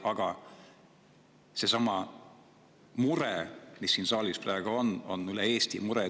Aga seesama mure, mis siin saalis praegu on, on üle Eesti mure.